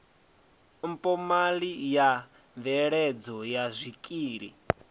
mphomali ya mveledzo ya zwikili